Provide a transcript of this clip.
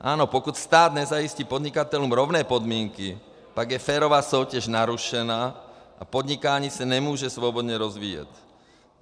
Ano, pokud stát nezajistí podnikatelům rovné podmínky, tak je férová soutěž narušena a podnikání se nemůže svobodně rozvíjet.